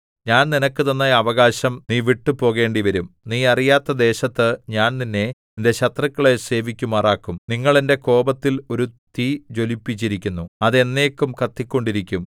ഞാൻ നിനക്ക് തന്ന അവകാശം നീ വിട്ടുപോകേണ്ടിവരും നീ അറിയാത്ത ദേശത്ത് ഞാൻ നിന്നെ നിന്റെ ശത്രുക്കളെ സേവിക്കുമാറാക്കും നിങ്ങൾ എന്റെ കോപത്തിൽ ഒരു തീ ജ്വലിപ്പിച്ചിരിക്കുന്നു അത് എന്നേക്കും കത്തിക്കൊണ്ടിരിക്കും